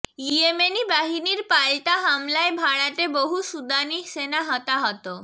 Yemeni বাহিনীর পাল্টা হামলায় ভাড়াটে বহু সুদানি সেনা হতাহত